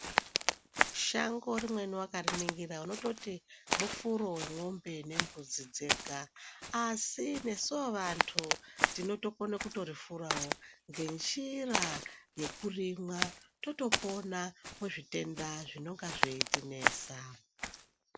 Shango rimweni wakariningira unototi mufuro wemwombe nembudzi dzega asi nesuwo vantu tinotokone kutorifurawo ngenjira yekurimwa totopona kuzvitenda zvinenga zveitinesa.